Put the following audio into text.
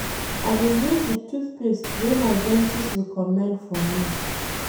I dey use di tooth paste wey my dentist recommend for me.